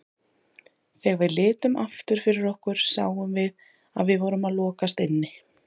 Þegar við litum aftur fyrir okkur sáum við að við vorum að lokast inni.